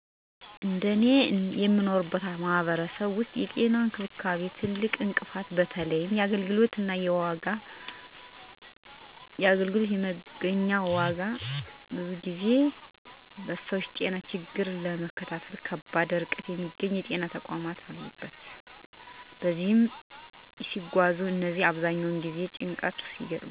በእኔ የምኖርበት ማህበረሰብ ውስጥ የጤና እንክብካቤ ትልቁ እንቅፋት በተለይም የአገልግሎት መገኛ እና ዋጋ ነው። ብዙ ጊዜ ሰዎች ጤና ችግራቸውን ለመታከም በከባድ ርቀት የሚገኙ የጤና ተቋማት ወደሚያገኙበት ይጓዛሉ እነዚህም አብዛኛውን ጊዜ በጭንቀት እና በወጪ የተጋለጡ ናቸው። ሰዎች እንቅፋቱን የሚያልፉት: 1. በሀኪም አልባ መድኃኒት እና ባህላዊ መፍትሄዎች 2. እርስ በርስ በመደጋገፍ